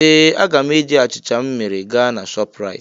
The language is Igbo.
Ee! Aga m eji achịcha m mere gaa na Shọpraịt.